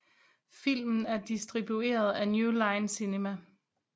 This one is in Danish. Filmen er distribueret af New Line Cinema